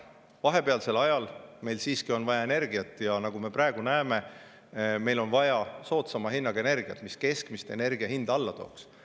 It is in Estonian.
Vahepealsel ajal meil on siiski vaja energiat ja nagu me praegu näeme, meil on vaja soodsama hinnaga energiat, mis keskmist energia hinda alla tooks.